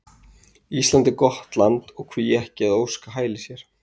Ísland er gott land og hví ekki að óska hælis hér?